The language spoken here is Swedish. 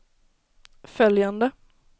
följande